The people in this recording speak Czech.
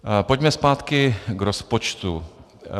Pojďme zpátky k rozpočtu.